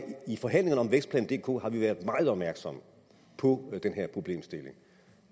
forhandlingerne om vækstplan dk har vi været meget opmærksomme på den her problemstilling